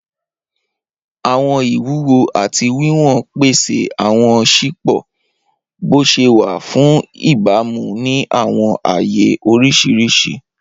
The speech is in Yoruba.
Awọn iwuwo ati wiwọn pese awọn sipo boṣewa fun ibamu ni awọn aaye oriṣiriṣi.